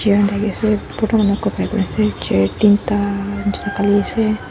chair tinta nishi khali ase.